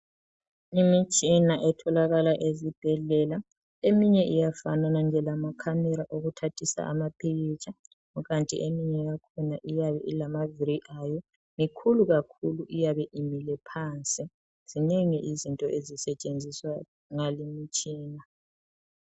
Imitshina etholakala ezibhedlela eminye iyafanana lamakhamera okuthathisa amapikitsha kukanti eminye yakhona iyabe ilamavili ayo, mikhulu kakhulu iyabe imile phansi. Zinengi izinto ezisetshenziswa ngale imitshina.